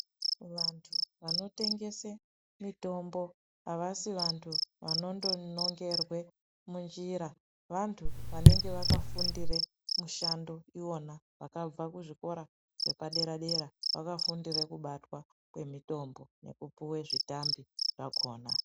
Vantu vanotengesa mitombo avasi vantu vanondonongerwa munjira vantu vakafundira mishando iyona yakabva muzvikora zvepadera dera vakafundira kubata kwemitombo nekupuwa zvitambi zvakona.